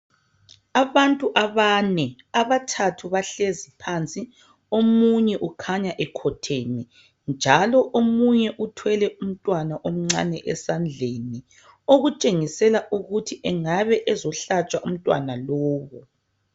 Abantu abane. Abathathu bahlezi phansi, omunye ukhanya ekhotheme,. Njalo omunye uthwele umntwana omncane esandleni okutshengisela ukuthi engabe ezohlatshwa umntwana lowu.